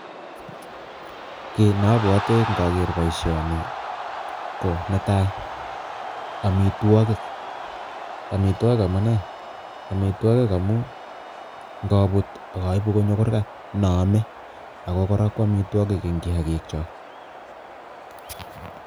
Kiy ne abwati ngager boisioni ko, Netai amitwogik, amitwogik amu nee? Amitwogik amu ngabut ak aibu konyo kurgat noome ako kora ko amitwogik eng kiyakiknyok.